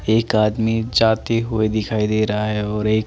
एक आदमी जाते हुए दिखाई दे रहा है और एक--